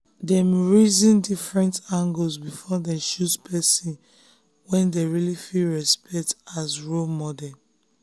dem reason different angles before dem choose person wey dem really fit respect as role model.